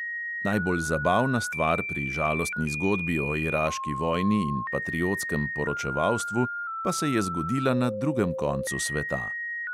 Najbolj zabavna stvar pri žalostni zgodbi o iraški vojni in patriotskem poročevalstvu pa se je zgodila na drugem koncu sveta.